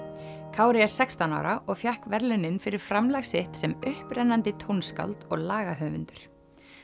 Kári er sextán ára og fékk verðlaunin fyrir framlag sitt sem upprennandi tónskáld og lagahöfundur